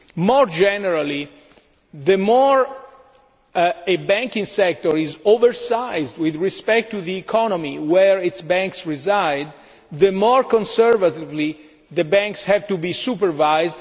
it is. More generally, the more oversized a banking sector is with respect to the economy where its banks reside, the more conservatively the banks have to be supervised.